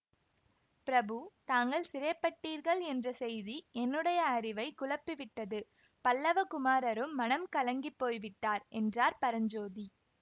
பிரபு தாங்கள் சிறைப்பட்டீர்கள் என்ற செய்தி என்னுடைய அறிவைக் குழப்பிவிட்டது பல்லவ குமாரரும் மனம் கலங்கிப்போய் விட்டார் என்றார் பரஞ்சோதி